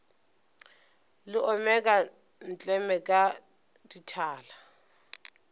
le omeka ntleme ka dithala